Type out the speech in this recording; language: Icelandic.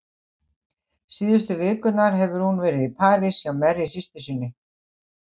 Síðustu vikurnar hefur hún verið í París hjá Mary systur og